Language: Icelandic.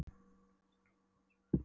Hún hugsar sig um áður en hún svarar